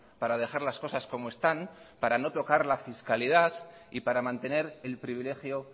para dejar las cosas como están para no tocar la fiscalidad y para mantener el privilegio